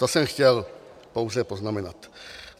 To jsem chtěl pouze poznamenat.